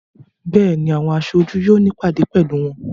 Béèni, àwọn aṣojú yóò ní ìpàdé pẹ̀lú wọn.